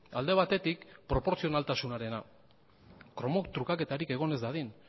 alde batetik proportzionaltasunarena kromo trukaketarik egon ez dadin